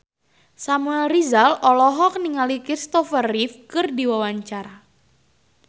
Samuel Rizal olohok ningali Kristopher Reeve keur diwawancara